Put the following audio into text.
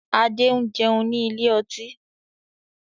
Adé ń jẹun ní ilé ọtí.